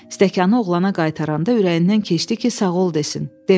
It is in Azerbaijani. Stəkanı oğlana qaytaranda ürəyindən keçdi ki, sağ ol desin.